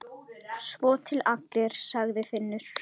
Svo til allir, sagði Finnur.